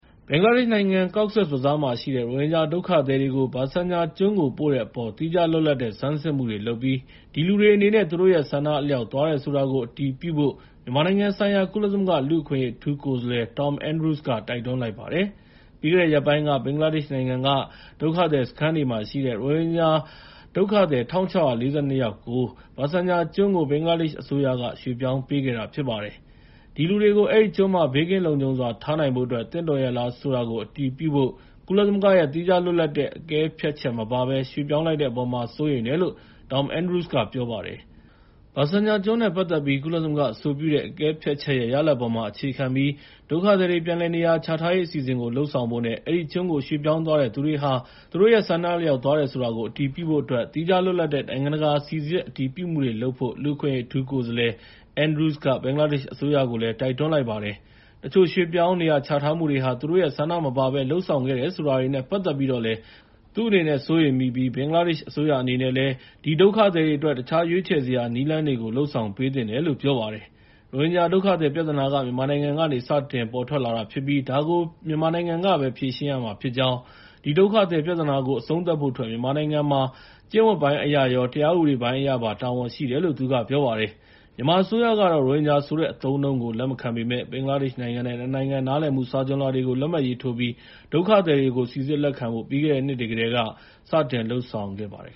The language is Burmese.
ဘင်္ဂလားဒေ့ရှ်နိုင်ငံ၊ Cox's Bazar မှာရှိတဲ့ ရိုဟင်ဂျာဒုက္ခသည်တွေကို ဘာဆန်ချာကျွန်းကို ပို့တဲ့အပေါ် သီးခြားလွတ်လပ်တဲ့ ဆန်းစစ်မှုတွေလုပ်ပြီး ဒီလူတွေအနေနဲ့ သူတို့ရဲ့ ဆန္ဒအလျောက်သွားတယ်ဆိုတာကို အတည်ပြုဖို့ မြန်မာနိုင်ငံဆိုင်ရာ ကုလသမဂ္ဂ လူ့အခွင့်အရေး အထူးကိုယ်စားလှယ် Tom Andrews က တိုက်တွန်းလိုက်ပါတယ်။ ပြီးခဲ့တဲ့ရက်ပိုင်းက ဘင်္ဂလားဒေ့ရှ်နိုင်ငံက ဒုက္ခသည်စခန်းတွေမှာ ရှိတဲ့ ရိုဟင်ဂျာ ဒုက္ခသည် ၁,၆၄၂ ယောက်ကို ဘာဆန်ချာကျွန်းကို ဘင်္ဂလားဒေ့ရှ်အစိုးရက ရွှေ့ပြောင်းပေးခဲ့တာဖြစ်ပါတယ်။ ဒီလူတွေကို အဲဒီကျွန်းမှာ ဘေးကင်းလုံခြုံစွာ ထားနိုင်ဖို့အတွက် သင့်တော်ရဲ့လားဆိုတာကို အတည်ပြုဖို ကုလသမဂ္ဂရဲ့ သီးခြားလွတ်လပ်တဲ့ အကဲဖြတ်ချက်မပါဘဲ ရွှေ့ပြောင်းလိုက်တဲ့အပေါ်မှာ စိုးရိမ်တယ်လို့ Tom Andrews ကပြောပါတယ်။ ဘာဆန်ချာကျွန်းနဲ့ ပတ်သက်ပြီး ကုလသမဂ္ဂအဆိုပြုတဲ့ အကဲဖြတ်ချက်ရဲ့ ရလဒ်အပေါ်မှာအခြေခံပြီး ဒုက္ခသည်တွေ ပြန်လည်နေရာချထားရေး အစီအစဉ်ကို လုပ်ဆောင်ဖို့နဲ့ အဲဒီကျွန်းကို ရွှေ့ပြောင်းသွားတဲ့သူတွေဟာ သူတို့ရဲ့ ဆန္ဒအလျောက်သွားတယ်ဆိုတာကို အတည်ပြုဖို့အတွက် သီးခြားလွတ်လပ်တဲ့ နိုင်ငံတကာ စိစစ်အတည်ပြုမှုတွေလုပ်ဖို့ လူ့အခွင့်အရေးအထူးကိုယ်စားလှယ် Andrews က ဘင်္ဂလားဒေ့ရှ်အစိုးရကိုလည်း တိုက်တွန်းလိုက်ပါတယ်။ တချို့ရွှေ့ပြောင်းနေရာချထားမှုတွေဟာ သူတို့ရဲ့ ဆန္ဒမပါဘဲ လုပ်ဆောင်ခဲ့တယ်ဆိုတာတွေနဲ့ ပတ်သက်ပြီးတော့လည်း သူအနေနဲ့စိုးရိမ်မိပြီး ဘင်္ဂလားဒေ့ရှ်အစိုးရအနေနဲ့လည်း အဲဒီဒုက္ခသည်တွေအတွက် တခြားရွေးချယ်စရာနည်းလမ်းတွေကို လုပ်ဆောင်ပေးသင့်တယ်လို့ ပြောပါတယ်။ ရိုဟင်ဂျာဒုက္ခသည်ပြဿနာဟာ မြန်မာနိုင်ငံကနေ စတင်ပေါ်ထွက်လာတာဖြစ်ပြီး ဒါကို မြန်မာနိုင်ငံကပဲ ဖြေရှင်းရမှာဖြစ်ကြောင်း၊ ဒီဒုက္ခသည်ပြဿနာကို အဆုံးသတ်ဖို့အတွက် မြန်မာနိုင်ငံမှာ ကျင့်ဝတ်ပိုင်းအရရော တရားဥပဒေပိုင်းအရပါ တာဝန်ရှိတယ်လို့ သူက ပြောလိုက်ပါတယ်။ မြန်မာအစိုးရဘက်ကတော့ ရိုဟင်ဂျာဆိုတဲ့အသုံးအနှုန်းကို လက်မခံပေမယ့် ဘင်္ဂလားဒေ့ရှ်နိုင်ငံနဲ့ ၂ နိုင်ငံနားလည်မှု စာချွန်လွှာတွေ လက်မှတ်ရေးထိုးပြီး ဒုက္ခသည်တွေကို စိစစ်လက်ခံဖို့ ပြီးခဲ့တဲ့နှစ်တွေကတည်းက စတင်လုပ်ဆောင်ခဲ့ပါတယ်